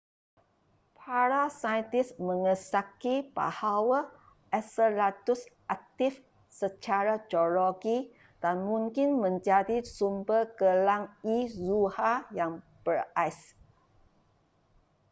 para saintis mengesyaki bahawa enceladus aktif secara geologi dan mungkin menjadi sumber gelang e zuhal yang berais